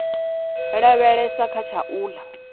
lavhelesa kha tsha u ḽa